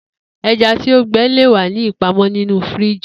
Eja ti o gbẹ le wa ni ipamọ ninu firiji